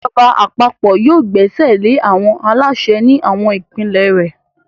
Ìjọba àpapọ̀ yóò gbẹ́sẹ̀lé àwọn aláṣẹ ní àwọn ìpínlẹ̀ rẹ̀.